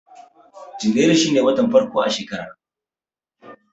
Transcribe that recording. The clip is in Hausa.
Janairu shine watan farko na shekara